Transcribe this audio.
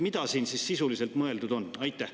Mida siin sisuliselt mõeldud on?